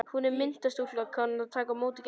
Hún er myndarstúlka og kann að taka á móti gestum.